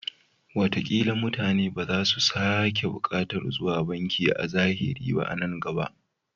Watakila mutane ba za su sake buƙatar zuwa banki a zahiri ba a nan gaba.